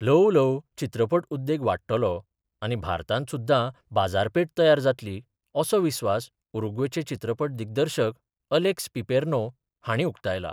ल्हव ल्हव चित्रपट उद्येग वाडटलो आनी भारतात सुद्धा बाजारपेठ तयार जात्ली, असो विस्वास उरूग्वेचे चित्रपट दिग्दर्शक अलेक्स पिपेर्नो हांणी उक्तायल्या.